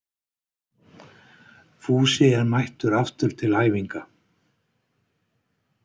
Fúsi er mættur aftur til æfinga